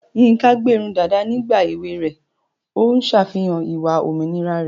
Yinka gbé irun dàda nígbà èwe rẹ̀, ó ń ṣàfihàn ìwà òmìnira rẹ̀.